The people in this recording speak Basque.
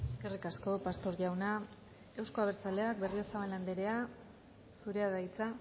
eskerrik asko pastor jauna euzko abertzaleak berriozabal andrea zurea da hitza